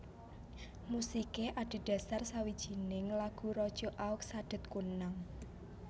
Musiké adhedhasar sawijining lagu raja Aug Sadet Kunnang